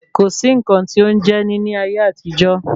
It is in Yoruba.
Kò sí nǹkan tí ó ń jẹ́ní ayé àtijọ́